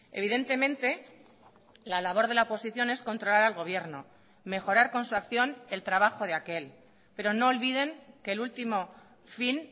evidentemente la labor de la oposición es controlar al gobierno mejorar con su acción el trabajo de aquel pero no olviden que el último fin